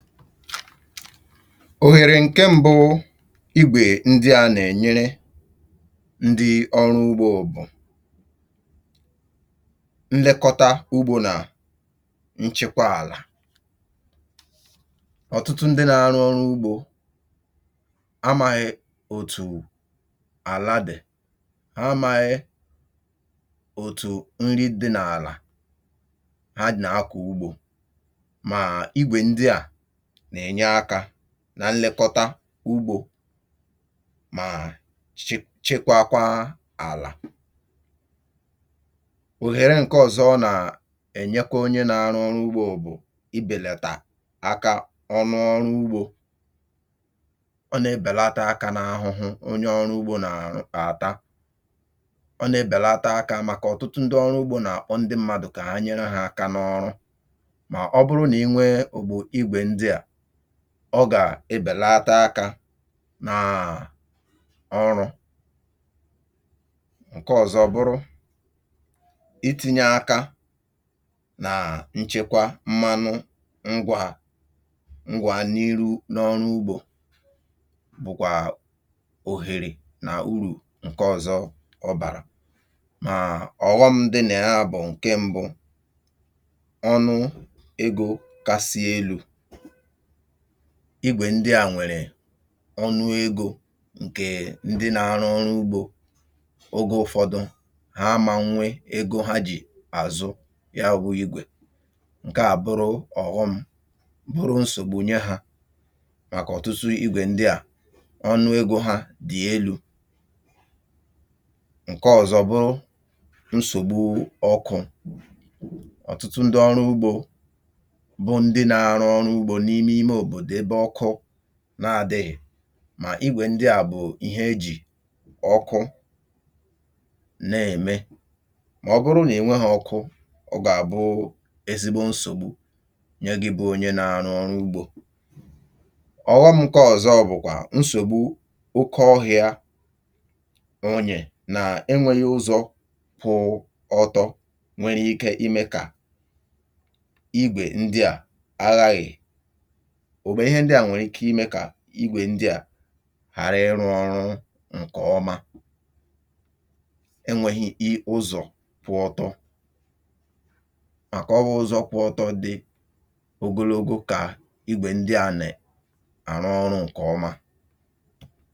Óhèrè ǹke mbụ igwè ndị a nà-ènyere ndị ọrụ ugbȯ bụ̀, nlekọta ugbȯ nà nchịkwa àlà. Ọ̀tụtụ ndị nȧ-arụ ọrụ ugbȯ amȧghị̇ òtù àla dì, amaghi̇ òtù nri dị n’àla ha nà-akọ̀ ugbȯ ma igwe ndị a na enye aka nlekọta ugbȯ mà chekwakwa àlà. Óhèrè ǹke ọ̀zọ nà-ènye kwa onye n’arụ ọrụ ugbȯ bụ̀ ịbèlètà aka ọnụ ọrụ ugbȯ. Ọ nà-èbèlata aka n’ahụhụ onye ọrụ ugbȯ nà-àrụ àta. Ọ nà-èbèlata aka màkà ọ̀tụtụ ndị ọrụ ugbȯ nà-àkpọ ndị mmadụ̀ kà nyere hà aka n’ọrụ. Ma ọ bụrụ na ịnwee obu igwe ndia, ọ gà-ebèlata akȧ nà um ọrụ̇. Ǹke ọ̀zọ bụrụ, ịti̇nye akȧ nà nchekwa mmanụ ngwà ngwà n'ihu n’ọrụ ugbȯ bụkwà òhèrè nà urù ǹke ọ̀zọ ọbàrà. Mà ọ̀ghọm dị nà ya bụ̀ ǹke mbu, ọnụ egȯ kasị elu̇ igwè ndị à nwèrè, ọnụ egȯ ǹkè ndị nȧ arụ ọrụ ugbȯ oge ụfọdụ ha amȧnwe egȯ ha jì àzụ ya wụ̇ igwè, nke à bụrụ ọ̀ghọm bụrụ nsògbu nye hȧ màkà ọ̀tụtụ igwè ndị à ọnụ egȯ hȧ dị̀ elu̇. Ǹke ọ̀zọ bụrụ nsògbu ọkụ̇. Ọ̀tụtụ ndị ọrụ ugbȯ bụ ndị na arụ ọrụ ugbȯ n'ime imė òbòdò ebe ọkụ n’adị̇ghị̀ mà igwè ndị à bụ̀ ihe ejì ọkụ na-ème. Mà ọ bụrụ nà enweghị̇ ọkụ, ọ gà-àbụ ezigbo nsògbu nye gị̇ bụ̇ onye na-anọ̇ ọrụ ugbȯ. Ọghọmụ̇kọ̇ ọ̀zọ bụ̀kwà nsògbu oke ọhịȧ, onye nà-enwėghị̇ ụzọ kwụ̇ ọtọ nwere ike imė kà igwè ndị à aghaghị̀ igwè ndị à ghara ịrụ ọrụ ǹkè ọma. Enwėghi̇ ị̀ ụzọ̀ pụọtọ, màkà ọbụ̇ ụzọ pụọtọ dị ogologo kà igwè ndị à na àrụ ọrụ̇ ǹkè ọma.